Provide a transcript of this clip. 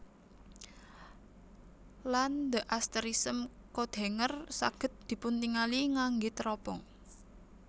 Lan the asterism Coathanger saged dipuntingali ngangge teropong